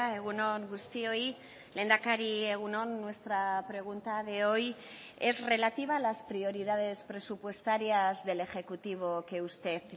egun on guztioi lehendakari egun on nuestra pregunta de hoy es relativa a las prioridades presupuestarias del ejecutivo que usted